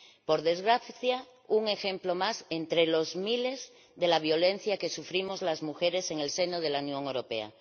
Por desgracia, un ejemplo más, entre miles, de la violencia que sufrimos las mujeres en el seno de la Unión Europea.